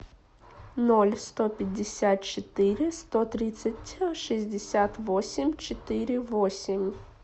ноль сто пятьдесят четыре сто тридцать шестьдесят восемь четыре восемь